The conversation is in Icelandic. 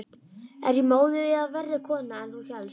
Er ég móðir eða verri kona en þú hélst?